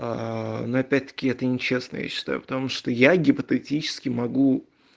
аа ну опять таки это нечестно я считаю потому что я гипотетически могу